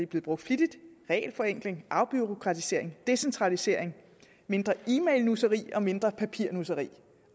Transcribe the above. blevet brugt flittigt er regelforenkling afbureaukratisering decentralisering mindre e mail nusseri og mindre papirnusseri